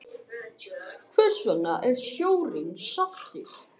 Hvers vegna er sjórinn saltur?